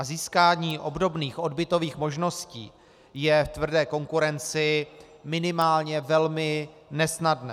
A získání obdobných odbytových možností je v tvrdé konkurenci minimálně velmi nesnadné.